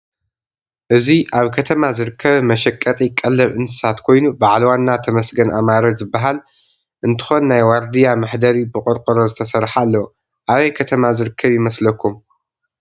እዚ አብ ከተማ ዝርከብ መሸጢቀለብ እንሰሳት ኮይኑ ባዓል ዋና ተመስገን አማረ ዝበሃል እንትኾን ናይ ዋርድያ መሐደሪ ብቆርቆሮ ዝተሰርሐ አለዎ። አበይ ከተማ ዝርከብ ይመስለኩም?